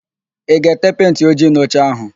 Ị ga-ete pentị ojii n'oche áhụ̀?